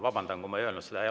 Vabandan, kui ma ei öelnud seda.